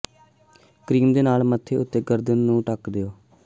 cream ਦੇ ਨਾਲ ਮੱਥੇ ਅਤੇ ਗਰਦਨ ਨੂੰ ਢੱਕ ਦਿਓ